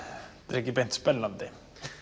ekki beint spennandi